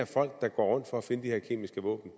folk der går rundt for at finde de her kemiske våben